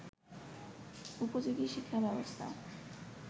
উপযোগী শিক্ষাব্যবস্থা